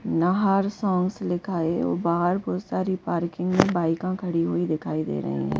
नाहार sons लिखा और बाहर बहुत सारी पार्किंग है बाइका खड़ी हुई दिखाई दे रहे हैं।